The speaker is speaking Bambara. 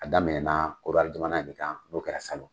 A daminɛ na Korowari jamana in de kan n'o kɛra salon.